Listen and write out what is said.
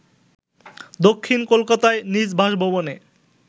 দক্ষিণ কোলকাতায় নিজ বাসভবনে